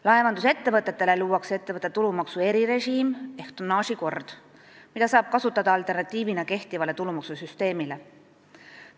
Laevandusettevõtetele luuakse ettevõtte tulumaksu erirežiim ehk tonnaažikord, mida saab kasutada kehtiva tulumaksusüsteemi alternatiivina.